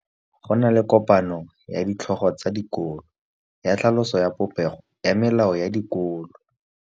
Go na le kopanô ya ditlhogo tsa dikolo ya tlhaloso ya popêgô ya melao ya dikolo.